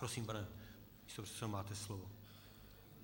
Prosím, pane místopředsedo, máte slovo.